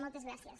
moltes gràcies